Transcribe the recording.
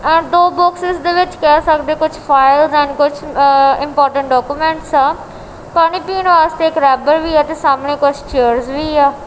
ਆ ਦੋ ਬੋਕਸਸ ਦੇ ਵਿੱਚ ਕਹਿ ਸਕਦੇ ਹੋ ਕੁਝ ਫਾਇਲਸ ਐਂਡ ਕੁਝ ਇਮਪੋਰਟੈਂਟ ਡਾਕੂਮੈਂਟਸ ਆ ਪਾਣੀ ਪੀਣ ਵਾਸਤੇ ਇਕ ਰੈਬਰ ਵੀ ਹੈ ਤੇ ਸਾਹਮਣੇ ਕੁਝ ਚੇਅਰ ਵੀ ਆ।